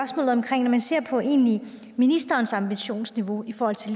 på ministerens ambitionsniveau i forhold til